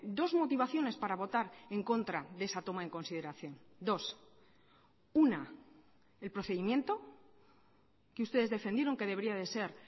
dos motivaciones para votar en contra de esa toma en consideración dos una el procedimiento que ustedes defendieron que debería de ser